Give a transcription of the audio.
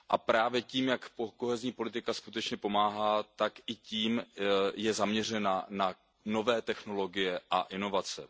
Právě tím, jak kohezní politika skutečně pomáhá, tak i tím je zaměřena na nové technologie a inovace.